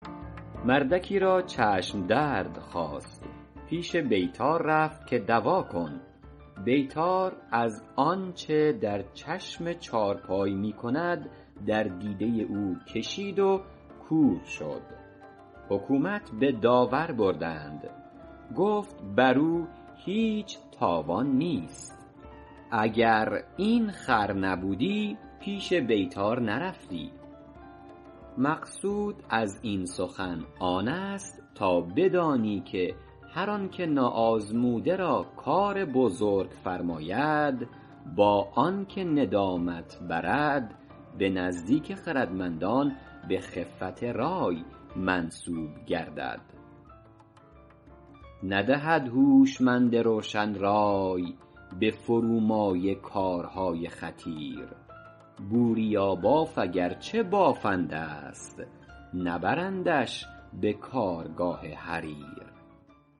مردکی را چشم درد خاست پیش بیطار رفت که دوا کن بیطار از آنچه در چشم چارپای می کند در دیده او کشید و کور شد حکومت به داور بردند گفت بر او هیچ تاوان نیست اگر این خر نبودی پیش بیطار نرفتی مقصود از این سخن آن است تا بدانی که هر آن که ناآزموده را کار بزرگ فرماید با آن که ندامت برد به نزدیک خردمندان به خفت رای منسوب گردد ندهد هوشمند روشن رای به فرومایه کارهای خطیر بوریاباف اگر چه بافنده ست نبرندش به کارگاه حریر